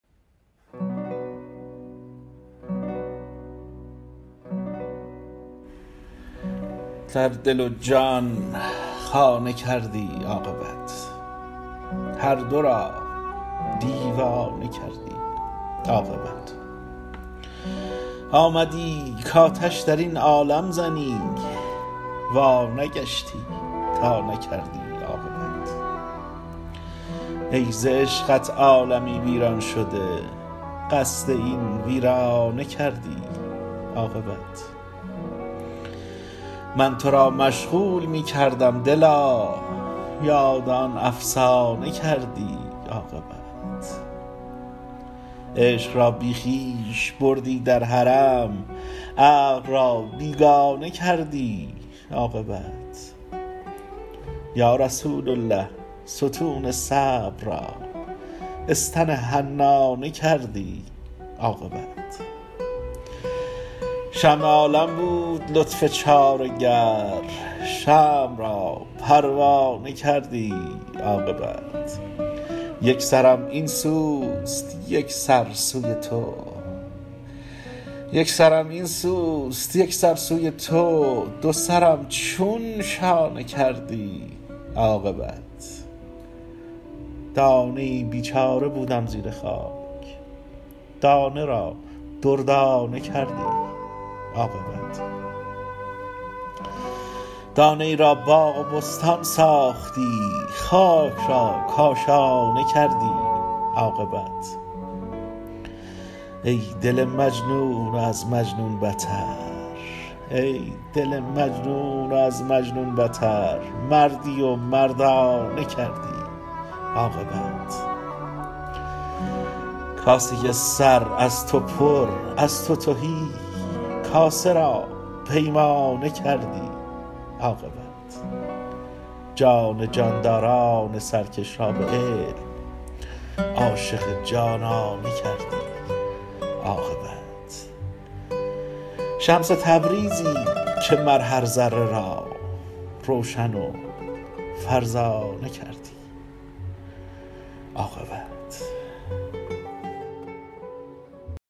در دل و جان خانه کردی عاقبت هر دو را دیوانه کردی عاقبت آمدی کآتش در این عالم زنی وانگشتی تا نکردی عاقبت ای ز عشقت عالمی ویران شده قصد این ویرانه کردی عاقبت من تو را مشغول می کردم دلا یاد آن افسانه کردی عاقبت عشق را بی خویش بردی در حرم عقل را بیگانه کردی عاقبت یا رسول الله ستون صبر را استن حنانه کردی عاقبت شمع عالم بود لطف چاره گر شمع را پروانه کردی عاقبت یک سرم این سوست یک سر سوی تو دو سرم چون شانه کردی عاقبت دانه ای بیچاره بودم زیر خاک دانه را دردانه کردی عاقبت دانه ای را باغ و بستان ساختی خاک را کاشانه کردی عاقبت ای دل مجنون و از مجنون بتر مردی و مردانه کردی عاقبت کاسه سر از تو پر از تو تهی کاسه را پیمانه کردی عاقبت جان جانداران سرکش را به علم عاشق جانانه کردی عاقبت شمس تبریزی که مر هر ذره را روشن و فرزانه کردی عاقبت